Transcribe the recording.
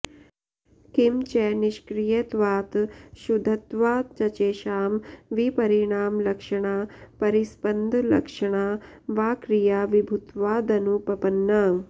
किं च निष्क्रियत्वात् शुद्धत्वाच्चैषां विपरिणामलक्षणा परिस्पन्दलक्षणा वा क्रिया विभुत्वादनुपपन्ना